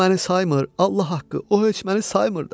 O məni saymır, Allah haqqı, o heç məni saymır da.